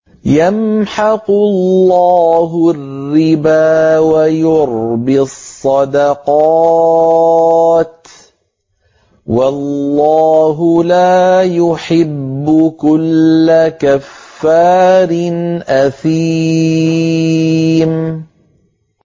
يَمْحَقُ اللَّهُ الرِّبَا وَيُرْبِي الصَّدَقَاتِ ۗ وَاللَّهُ لَا يُحِبُّ كُلَّ كَفَّارٍ أَثِيمٍ